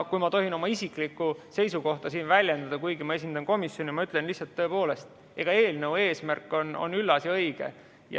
Kui ma tohin oma isiklikku seisukohta siin väljendada, kuigi ma esindan komisjoni, siis ma ütlen lihtsalt, et tõepoolest, eelnõu eesmärk on üllas ja õige.